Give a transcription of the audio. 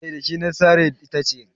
eh da shi na sare itace